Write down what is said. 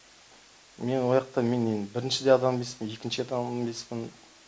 мен ояқта мен енді бірінші де адам емеспін екінші де адам емеспін